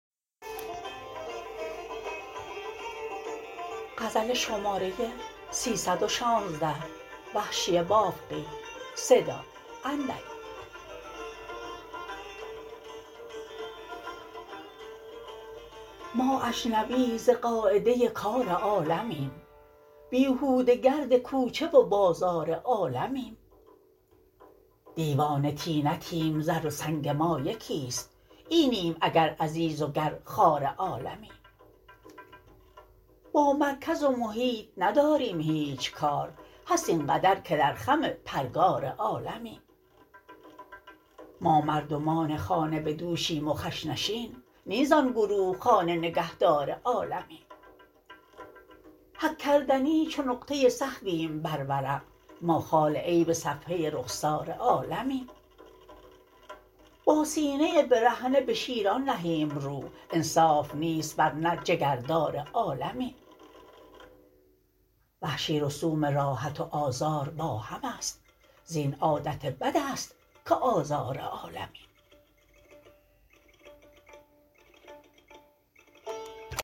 ما اجنبی ز قاعده کار عالمیم بیهوده گرد کوچه و بازار عالمیم دیوانه طینتیم زر و سنگ ما یکیست اینیم اگر عزیز و گر خوار عالمیم با مرکز و محیط نداریم هیچ کار هست اینقدر که در خم پرگار عالمیم ما مردمان خانه بدوشیم و خش نشین نی زان گروه خانه نگهدار عالمیم حک کردنی چو نقطه سهویم بر ورق ما خال عیب صفحه رخسار عالمیم با سینه برهنه به شیران نهیم رو انصاف نیست ورنه جگردار عالمیم وحشی رسوم راحت و آزار با هم است زین عادت بد است که آزار عالمیم